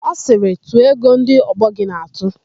Ọ sịrị, "tụọ ego ndị ọgbọ gị na-atụ"!